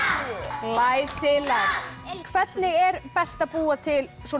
glæsilegt hvernig er best að búa til svona